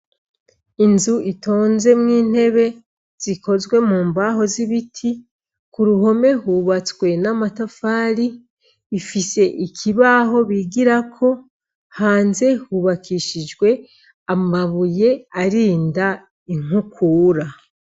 Inzu itonzemwo intebe zikozwe mu mbaho z'ibiti ku ruhome hubatswe n'amatafali ifise ikibaho bigirako hanze hubakishijwe amabuye arinda inkukura.